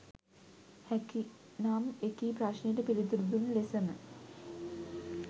හැකි නම් එකී ප්‍රශ්නයට පිළිතුරු දුන් ලෙසම